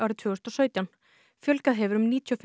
fjölgað hefur um níutíu og fimm prósent í þeim hópi